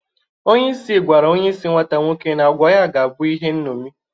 Onyeisi gwara onyeisi nwata nwoke na agwa ya ga-abụ ihe nṅomi.